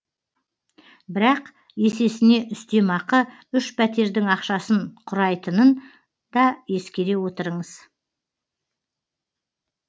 бірақ есесіне үстемақы үш пәтердің ақшасын құрайтынын да ескере отырыңыз